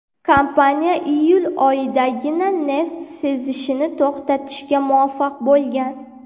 Kompaniya iyul oyidagina neft sizishini to‘xtatishga muvaffaq bo‘lgan.